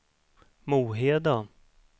Moheda